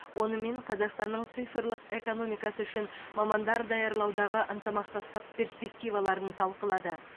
онымен қазақстанның цифрлық экономикасы үшін мамандар даярлаудағы ынтымақтастық перспективаларын талқылады